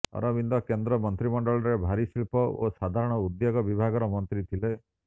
ଅରବିନ୍ଦ କେନ୍ଦ୍ର ମନ୍ତ୍ରୀମଣ୍ଡଳରେ ଭାରୀଶିଳ୍ପ ଓ ସାଧାରଣ ଉଦ୍ୟୋଗ ବିଭାଗର ମନ୍ତ୍ରୀ ଥିଲେ